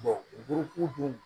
dun